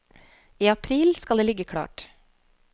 I april skal det ligge klart.